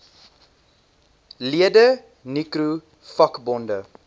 lede nicro vakbonde